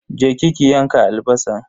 Je ki ki yanka albasan.